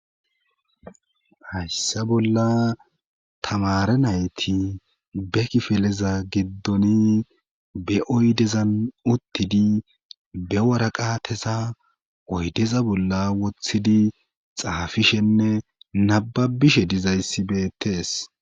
Hayssa bolla tamare nayti be kifeleza giddoni be oydezan uttidi be waraqatesa oydeza bolla wothidi xaafishenne nababishe dizayssibeettees.